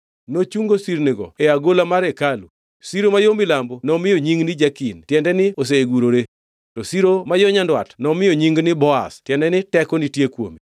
Nochungo sirnigo e agola mar hekalu. Siro ma yo milambo nomiyo nying ni Jakin (tiende ni osegurore), to siro ma yo nyandwat nomiyo nying ni Boaz (tiende ni teko nitie kuome).